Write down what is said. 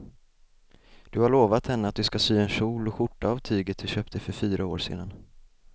Du har lovat henne att du ska sy en kjol och skjorta av tyget du köpte för fyra år sedan.